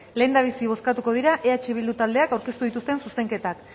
lehendabizi bozkatuko dira eh bildu taldeak aurkeztuz dituzten zuzenketak